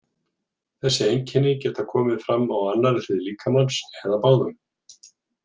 Þessi einkenni geta komið fram á annarri hlið líkamans eða báðum.